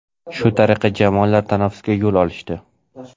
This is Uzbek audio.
Shu tariqa jamoalar tanaffusga yo‘l olishdi.